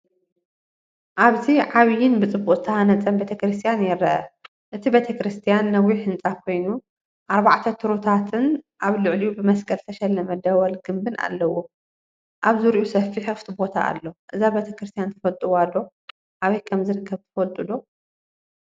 ኣብዚ ዓቢይን ብጽቡቕ ዝተሃንጸን ቤተ ክርስቲያን ይርአ። እቲ ቤተክርስትያን ነዊሕ ህንጻ ኮይኑ፡ ኣርባዕተ ቱረታትን ኣብ ልዕሊኡ ብመስቀል ዝተሸለመ ደወል ግምቢን ኣለዎ። ኣብ ዙርያኡ ሰፊሕ ክፉት ቦታ ኣሎ። እዛ ቤተ ክርስቲያን ትፈልጥዋ ዶ? ኣበይ ከም ዝርከብ ትፈልጡ ዶ?